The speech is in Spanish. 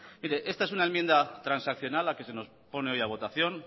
esta es una enmienda transaccional la que se nos pone hoy a votación